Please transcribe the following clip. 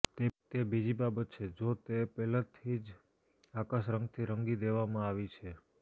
તે બીજી બાબત છે જો તે પહેલાથી જ પ્રકાશ રંગથી રંગી દેવામાં આવી છે